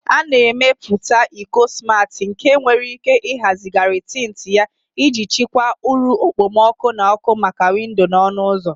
A na-emepụta iko smati nke nwere ike ịhazigharị tint ya iji chịkwaa uru okpomọkụ na ọkụ maka windo na ọnụ ụzọ.